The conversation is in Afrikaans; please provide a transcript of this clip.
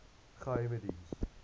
geheimediens